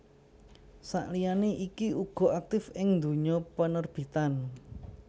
Sakliyane iku uga aktif ing dunya penerbitan